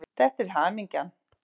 Þetta er hamingjan.